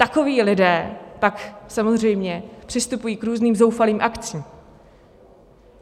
Takoví lidé pak samozřejmě přistupují k různým zoufalým akcím.